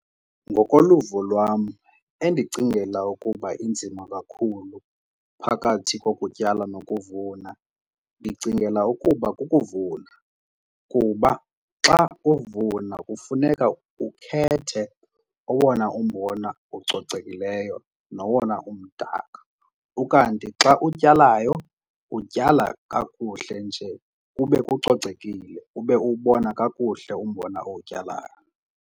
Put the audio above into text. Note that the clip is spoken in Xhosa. Ngokoluvo lwam endicingela ukuba inzima kakhulu phakathi kokutyala nokuvuna ndicingela ukuba kukuvuna kuba xa uvuna kufuneka ukhethe owona umbona ucocekileyo nowona umdaka. Ukanti xa utyalayo utyala kakuhle nje kube kucocekile ube uwubona kakuhle umbona owutyalayo.